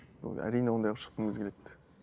ы әрине ондай болып шыққымыз келеді